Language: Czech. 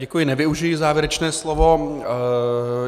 Děkuji, nevyužiji závěrečné slovo.